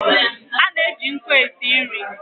A na-eji nkụ e si nri.